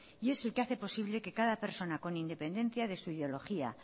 y es el que hace posible que cada persona con independencia de su ideología